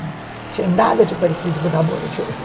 Não tinha nada de parecido com o namoro de hoje.